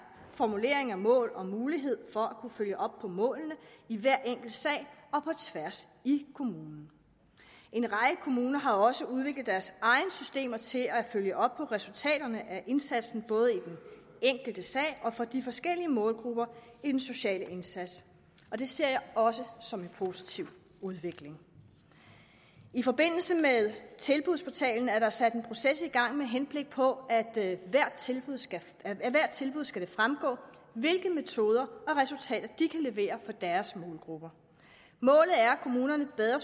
formulering af mål og mulighed for at kunne følge op på målene i hver enkelt sag og på tværs i kommunen en række kommuner har også udviklet deres egne systemer til at følge op på resultaterne af indsatsen både i den enkelte sag og for de forskellige målgrupper i den sociale indsats og det ser jeg også som en positiv udvikling i forbindelse med tilbudsportalen er der sat en proces i gang med henblik på at det af hvert tilbud skal tilbud skal fremgå hvilke metoder og resultater de kan levere for deres målgrupper målet er at kommunerne bedre